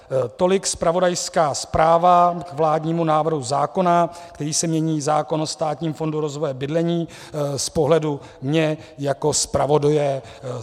Tolik zpravodajská zpráva k vládnímu návrhu zákona, kterým se mění zákon o Státním fondu rozvoje bydlení z pohledu mne jako zpravodaje.